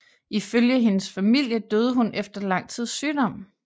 Ifølge hendes familie døde hun efter lang tids sygdom